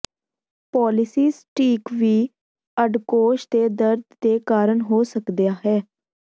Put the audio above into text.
polycystic ਵੀ ਅੰਡਕੋਸ਼ ਦੇ ਦਰਦ ਦੇ ਕਾਰਨ ਹੋ ਸਕਦਾ ਹੈ